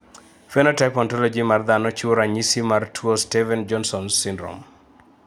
Phenotype Ontology mar dhano chiwo ranyisis mar tuo Stevens jonson synrome